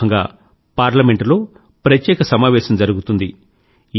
ఈ సందర్భంగా ఈసారి పార్లమెంట్ లో ప్రత్యేక సమావేశం జరిగుతుంది